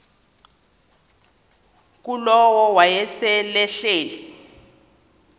ngulowo wayesel ehleli